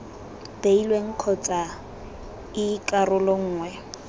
beilweng kgotsa ii karolo nngwe